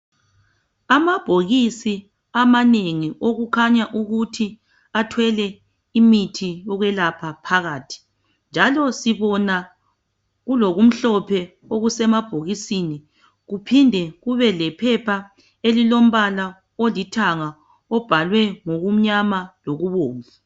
Amabhokisi amanengi okukhanya ukuthi athwele imithi yokwelapha phakathi. Njalo sibona kulokumhlophe okusemabhokisini. Kuphinde kube lephepha elilombala olithanga obhalwe ngokumnyama lokubomvu.